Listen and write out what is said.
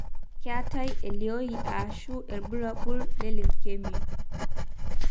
keetae elioi ashu ilbulabul le leukemia.